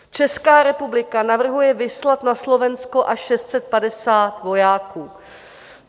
Česká republika navrhuje vyslat na Slovensko až 650 vojáků.